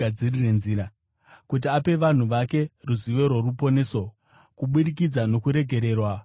kuti ape vanhu vake ruzivo rworuponeso kubudikidza nokuregererwa kwezvivi zvavo,